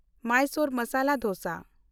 Mysore masala dosa